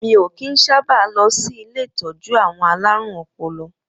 Mi o kín sábà lọ sí ilé ìtọ́jú àwọn alárùn ọpọlọ.